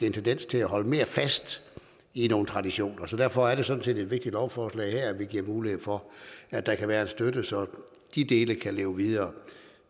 en tendens til at holde mere fast i nogle traditioner så derfor er det her sådan set et vigtigt lovforslag vi giver mulighed for at der kan være en støtte så de dele kan leve videre